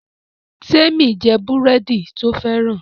Temi n jé búrẹ́dì to fẹ́ràn